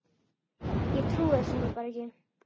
Ég trúi þessu nú bara ekki.